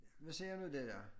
Nu ser du det der